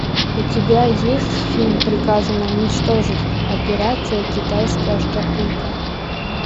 у тебя есть фильм приказано уничтожить операция китайская шкатулка